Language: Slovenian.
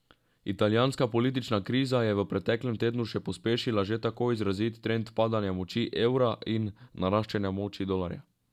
Italijanska politična kriza je v preteklem tednu še pospešila že tako izrazit trend padanja moči evra in naraščanja moči dolarja.